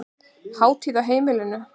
Hátíð á heimilinu